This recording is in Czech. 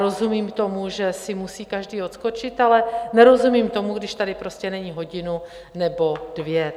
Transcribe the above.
Rozumím tomu, že si musí každý odskočit, ale nerozumím tomu, když tady prostě není hodinu nebo dvě.